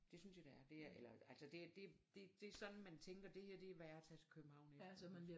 Det synes jeg det er det er eller altså det det det sådan man tænker det her er værd at tage til København efter